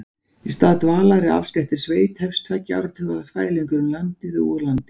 Í stað dvalar í afskekktri sveit hefst tveggja áratuga þvælingur um landið og úr landi.